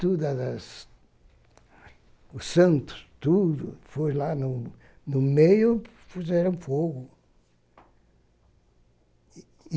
tudo, a as o santo, tudo, foi lá no no meio, puseram fogo.